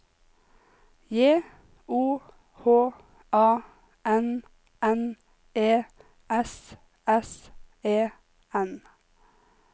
J O H A N N E S S E N